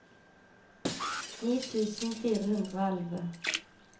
ni tusen fire hundre og elleve